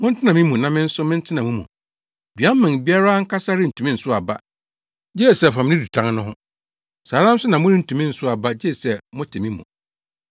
Montena me mu na me nso mentena mo mu. Dua mman biara ankasa rentumi nsow aba gye sɛ ɛfam ne dutan no ho. Saa ara nso na morentumi nsow aba gye sɛ mote me mu.